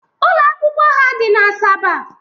Ụlọ akwụkwọ ha dị n'Asaba